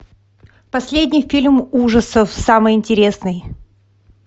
последний фильм ужасов самый интересный